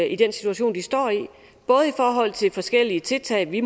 i den situation de står i både i forhold til forskellige tiltag vi